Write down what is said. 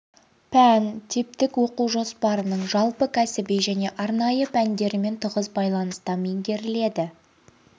пән типтік оқу жоспарының жалпы кәсіби және арнайы пәндерімен тығыз байланыста меңгеріледі